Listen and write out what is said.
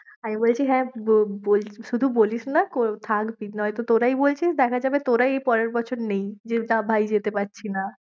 আমি বলছি হ্যাঁ বল~ বলছি শুধু বলিসনা থাক নয়তো তোরাই বলছিস, দেখা যাবে তোরাই পরের বছর নেই ভাই যেতে পারছিনা।